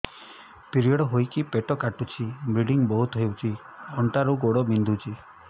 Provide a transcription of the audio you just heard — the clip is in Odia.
ପିରିଅଡ଼ ହୋଇକି ପେଟ କାଟୁଛି ବ୍ଲିଡ଼ିଙ୍ଗ ବହୁତ ହଉଚି ଅଣ୍ଟା ରୁ ଗୋଡ ବିନ୍ଧୁଛି